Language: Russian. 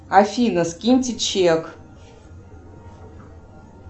афина скиньте чек